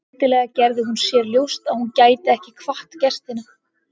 Skyndilega gerði hún sér ljóst að hún gæti ekki kvatt gestina.